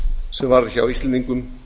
sem varð hjá íslendingum